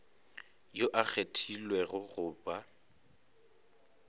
yo a kgethilwego go ba